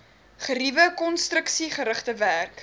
geriewe konstruksiegerigte werk